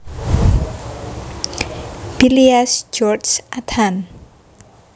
Billias George Athan